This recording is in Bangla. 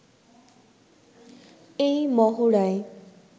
এই মহড়ায়